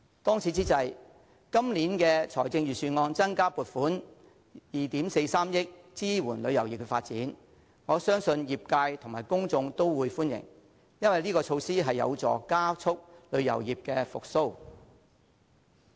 當此之際，今年預算案增加撥款2億 4,300 萬元支援旅遊業發展，我相信業界及公眾都會歡迎，因為這項措施有助加速旅遊業復蘇。